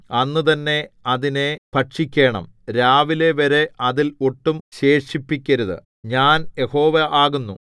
അന്ന് തന്നെ അതിനെ ഭക്ഷിക്കേണം രാവിലെവരെ അതിൽ ഒട്ടും ശേഷിപ്പിക്കരുത് ഞാൻ യഹോവ ആകുന്നു